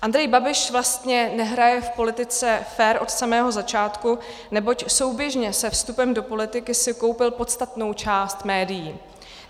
Andrej Babiš vlastně nehraje v politice fér od samého začátku, neboť souběžně se vstupem do politiky si koupil podstatnou část médií.